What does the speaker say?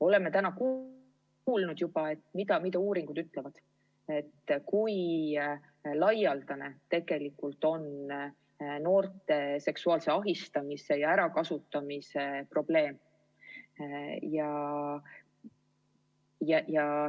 Oleme täna juba kuulnud, mida uuringud ütlevad selle kohta, kui laialdane tegelikult on noorte seksuaalse ahistamise ja ärakasutamise probleem.